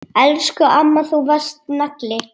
Elsku amma, þú varst nagli.